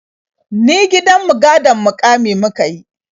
Ni gidan mu gadon muƙami muka yi.